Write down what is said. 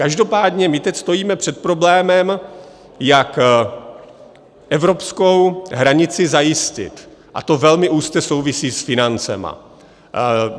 Každopádně my teď stojíme před problémem, jak evropskou hranici zajistit, a to velmi úzce souvisí s financemi.